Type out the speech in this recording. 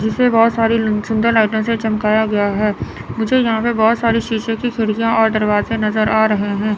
जिसे बहोत सारी सुन्दर लाइटों से चमकाया गया है मुझे यहां पे बहोत सारी शीशे की खिड़कियां और दरवाजे नजर आ रहे हैं।